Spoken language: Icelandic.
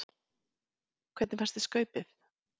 Hödd Vilhjálmsdóttir: Hvernig fannst þér Skaupið?